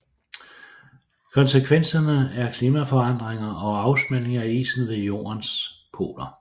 Konsekvenserne er klimaforandringer og afsmeltning af isen ved jordens poler